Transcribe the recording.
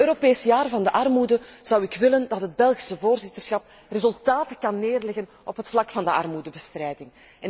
In het Europees Jaar van de armoede zou ik willen dat het Belgische voorzitterschap resultaten kan neerleggen op het vlak van de armoedebestrijding.